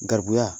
Garibuya